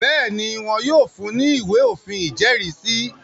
Bẹ́ẹ̀ni, wọn yóò fun ní “ ìwé òfin ìjẹ́rìísí.